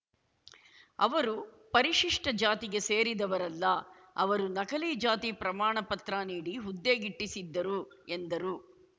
ಅವರು ಪರಿಶಿಷ್ಟ ಜಾತಿಗೆ ಸೇರಿದವರಲ್ಲ ಅವರು ನಕಲಿ ಜಾತಿ ಪ್ರಮಾಣಪತ್ರ ನೀಡಿ ಹುದ್ದೆಗಿಟ್ಟಿಸಿದ್ದರು ಎಂದರು